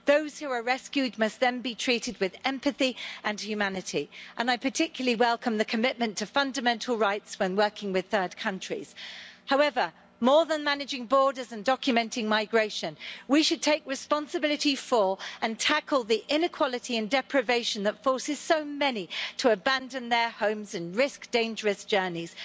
Those who are rescued must then be treated with empathy and humanity, and I particularly welcome the commitment to fundamental rights when working with third countries. However, more than managing borders and documenting migration, we should take responsibility for and tackle the inequality and deprivation that forces so many to abandon their homes and risk dangerous journeys.